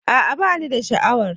A'a ba ni da sha'awar.